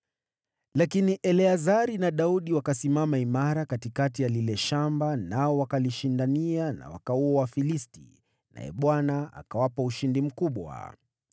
Lakini Eleazari na Daudi wakasimama imara katikati ya lile shamba, nao wakalishindania na wakawaua Wafilisti. Naye Bwana akawapa ushindi mkubwa.